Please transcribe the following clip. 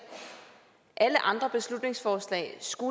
alle andre beslutningsforslag skal